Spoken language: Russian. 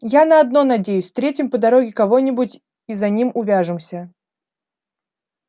я на одно надеюсь встретим по дороге кого-нибудь и за ним увяжемся